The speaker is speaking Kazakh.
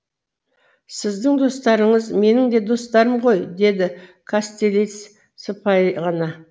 сіздің достарыңыз менің де достарым ғой деді кастелиц сыпайы ғана